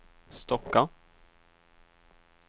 Stocka